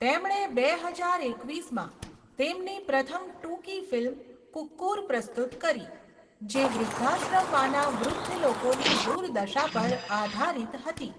તેમણે બે હજાર એકવીસમાં તેમની પ્રથમ ટૂંકી ફિલ્મ 'કુક્કુર' પ્રસ્તુત કરી જે વૃદ્ધાશ્રમમાંના વૃદ્ધ લોકોની દુર્દશા પર આધારિત હતી.